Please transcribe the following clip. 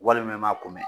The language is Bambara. Walima i ma kunbɛn